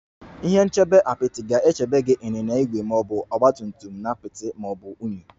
Ihe nchebe Apịtị ga-echebe gị ịnyịnya ígwè ma ọ bụ ọgba tum tum si apịtị ma ọ bụ unyi